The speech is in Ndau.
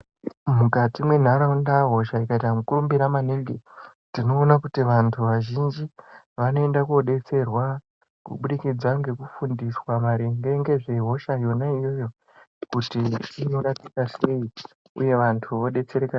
Mukati mwenharaunda hosha ikaita mukurumbira maningi tinoona kuti vantu vazhinji vanoenda kodetserwa kubudikidza ngekufundiswa maringe ngezvehosha yona iyoyo kuti inorapika sei uye vantu vodetsereka.